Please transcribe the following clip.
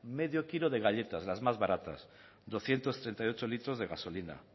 medio kilo de galletas las más baratas doscientos treinta y ocho litros de gasolina